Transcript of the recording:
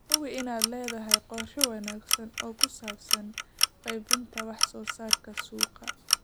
Hubi inaad leedahay qorshe wanaagsan oo ku saabsan qaybinta wax soo saarka suuqa.